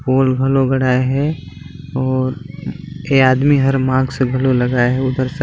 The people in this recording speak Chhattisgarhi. हॉल हलो घड़ा है और एक आदमी हर मास्क ब्लू लगाए है उधर से--